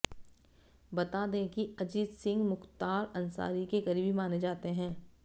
बता दें कि अजीत सिंह मुख्तार अंसारी के कारीबी माने जाते हैं